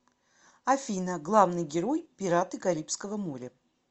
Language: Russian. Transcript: афина главный герой пираты карибского моря